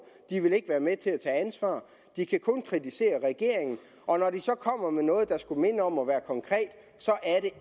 de ville ikke være med til at tage ansvar de kan kun kritisere regeringen og når de så kommer med noget der skulle minde om at være konkret